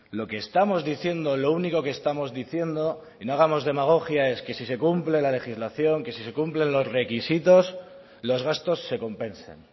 lo que estamos diciendo lo único que estamos diciendo y no hagamos demagogia es que si se cumple la legislación que si se cumplen los requisitos los gastos se compensen